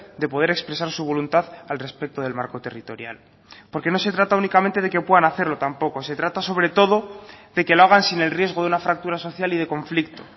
de poder expresar su voluntad al respecto del marco territorial porque no se trata únicamente de que puedan hacerlo tampoco se trata sobre todo de que lo hagan sin el riesgo de una fractura social y de conflicto